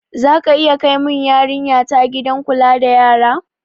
Zaka iya kai mun yarinya ta gidan kula da yara?